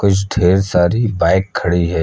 डेढ सारी बाइक खड़ी है।